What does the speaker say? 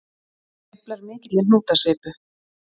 Hann sveiflar mikilli hnútasvipu.